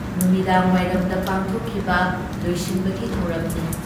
ꯅꯨꯃꯤꯗꯥꯡꯋꯥꯏꯔꯝꯗ ꯄꯥꯡꯊꯣꯛꯈꯤꯕ ꯂꯣꯏꯁꯤꯟꯕꯒꯤ ꯊꯧꯔꯝꯅꯤ ꯫